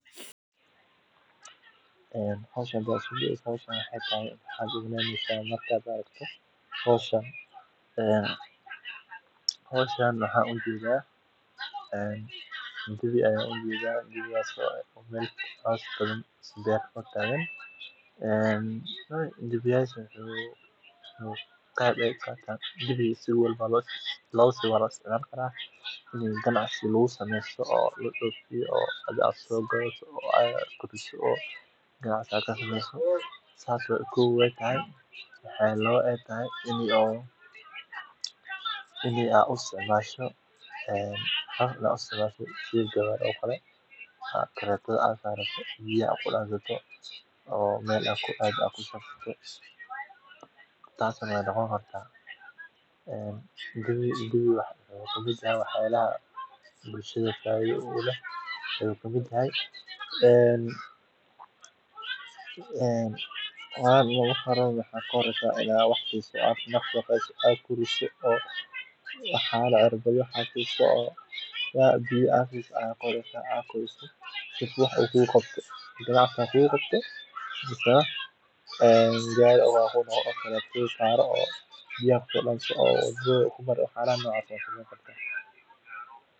xooluhu waxay noqon karaan aalad shaqo, sida lo’da oo lagu jiido horey beeraleyda dhaqameed u adeegsan jireen hawlaha sida qodista ama jiididda gaariyada yaryar. Marka laga eego dhinaca maaraynta khatarta, beeraleyda leh xoolaha waxay leeyihiin ilo kale oo dakhli haddii dalaggooda uu guuldarreysto, taasoo si weyn u yaraysa nuglaanshahooda marka ay dhacaan masiibooyin dabiici ah ama suuqyo daciifa. La dhaqashada xoolaha